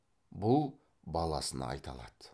бұл баласына айта алады